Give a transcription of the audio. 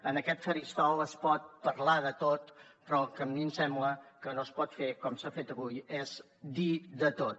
en aquest faristol es pot parlar de tot però el que a mi em sembla que no es pot fer com s’ha fet avui és dir de tot